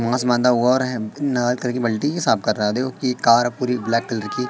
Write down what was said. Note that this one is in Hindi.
बल्टी भी साफ कर रहा देखो ये कार पूरी ब्लैक कलर की--